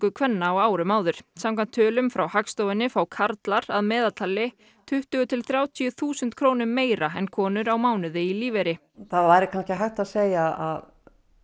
kvenna á árum áður samkvæmt tölum frá Hagstofunni fá karlar að meðaltali tuttugu til þrjátíu þúsund krónum meira en konur á mánuði í lífeyri það væri hægt að segja að